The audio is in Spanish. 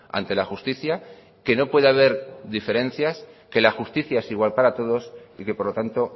ante la justicia que no puede haber diferencias que la justicia es igual para todos y que por lo tanto